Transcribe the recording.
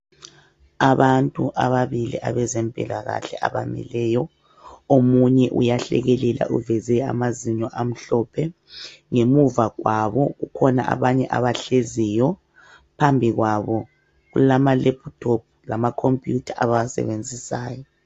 Abantu ababili abezempilakahle abamileyo .Omunye uyahlekelela uveze amazinyo amhlophe , ngemuva kwabo kukhona abanye abahleziyo. Phambikwabo kulama lephuthophu lamakhompuyutha abawasebenzisayo.